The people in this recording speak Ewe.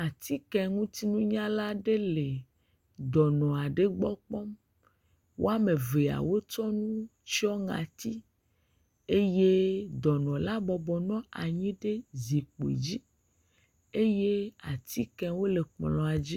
Atikeŋutinunyala aɖe le dɔnɔ aɖe gbɔ kpɔm. woame veawo tsɔ nu tsyɔ ŋati. Eye dɔnɔla bɔbɔ nɔ anyi ɖe zikpui dzi eye atikewo le kplɔ̃a dzi.